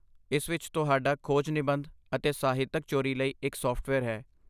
ਇਸ ਵਿੱਚ ਤੁਹਾਡਾ ਖੋਜ ਨਿਬੰਧ ਅਤੇ ਸਾਹਿਤਕ ਚੋਰੀ ਲਈ ਇੱਕ ਸਾਫਟਵੇਅਰ ਹੈ।